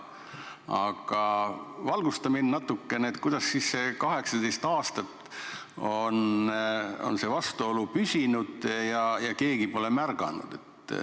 Aga valgusta mind natukene, kuidas siis see vastuolu on 18 aastat püsinud nii, et keegi pole märganud.